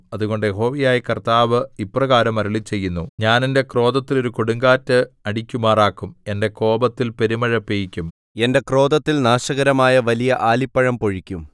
അതുകൊണ്ട് യഹോവയായ കർത്താവ് ഇപ്രകാരം അരുളിച്ചെയ്യുന്നു ഞാൻ എന്റെ ക്രോധത്തിൽ ഒരു കൊടുങ്കാറ്റ് അടിക്കുമാറാക്കും എന്റെ കോപത്തിൽ പെരുമഴ പെയ്യിക്കും എന്റെ ക്രോധത്തിൽ നാശകരമായ വലിയ ആലിപ്പഴം പൊഴിക്കും